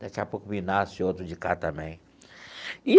Daqui a pouco me nasce outro de cá também.